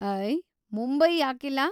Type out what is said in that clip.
ಅಯ್‌, ಮುಂಬೈ ಯಾಕಿಲ್ಲ?